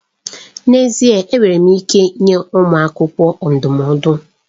N'ezie! Enwere m ike nye ụmụ akwụkwọ ndụmọdụ.